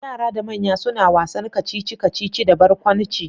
Yara da manya suna wasan kacici-kacici da barkwanci.